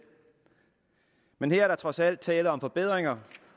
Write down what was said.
men her er der trods alt tale om forbedringer